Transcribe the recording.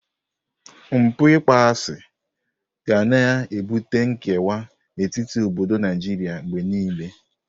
Mpụ ịkpọasị ga na-ebute nkewa n'etiti obodo Naijiria mgbe niile.